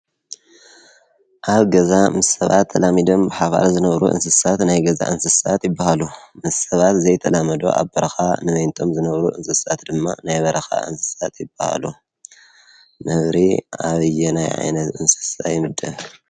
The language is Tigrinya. ኣብ ገዛ ምስሰባት ተላሚድም ሓባር ዘነብሩ እንስሳት ናይ ገዛ እንስሳት ይበሃሉ ምሰባት ዘይተላመዶ ኣበርኻ ምሜንቶም ዘነብሩ እንስሳት ድማ ናይ በረኻ እንስሳት ይበሃሉ ነብሪ ኣብዪ ናይ ኣይነት እንስሳ ይምደብ?